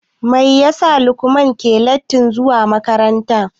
Mai ya sa Mamuda ke letin zuwa makaranta.